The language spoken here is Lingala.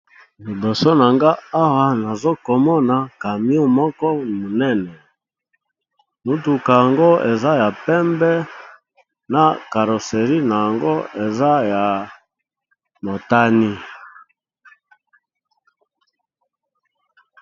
Liboso na nga awa nazokomona camion moko monene mutuka yango eza ya pembe na caroserie na yango eza ya motani.